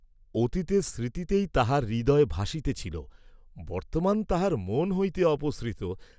অতীতের স্মৃতিতেই তাহার হৃদয় ভাসিতেছিল, বর্ত্তমান তাহার মন হইতে অপসৃত।